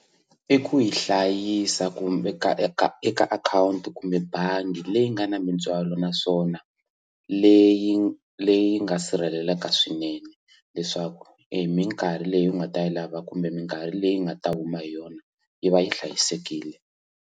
I ku yi hlayisa ku veka eka eka akhawunti kumbe bangi leyi nga na mitswalo naswona leyi leyi nga sirheleleka swinene leswaku emikarhi leyi u nga ta yi lava kumbe mikarhi leyi nga ta huma hi yona yi va yi hlayisekile.